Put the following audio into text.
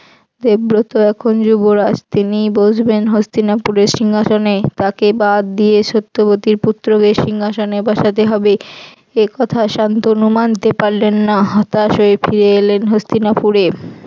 দেবব্রত এখন যুবরাজ তিনি বসবেন হস্তিনাপুরের সিংহাসনে তাকে বাদ দিয়ে সত্যবতীর পুত্রকে সিংহাসনে বসাতে হবে এ কথা শান্তনু মানতে পারলেন না হতাশ হয়ে ফিরে এলেন হস্তিনাপুরে।